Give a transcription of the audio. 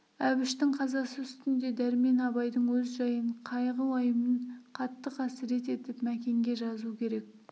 әбіштің қазасы үстінде дәрмен абайдың өз жайын қайғы-уайымын қатты қасірет етіп мәкенге жазу керек